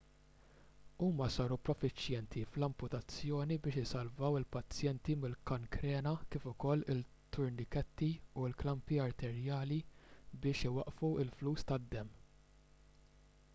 huma saru profiċjenti fl-amputazzjoni biex isalvaw il-pazjenti mill-kankrena kif ukoll it-turniketti u l-klampi arterjali biex iwaqqfu l-fluss tad-demm